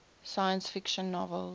science fiction novels